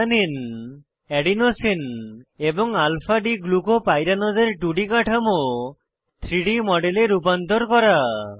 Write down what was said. alanine adenosine এবং alpha d glucopyranose এর 2ডি কাঠামো 3ডি মডেলে রূপান্তর করা